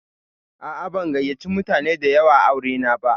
A'a, ban gayyace mutane da yawa aure na ba.